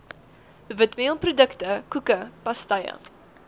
witmeelprodukte koeke pastye